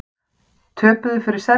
Töpuðu fyrir Serbum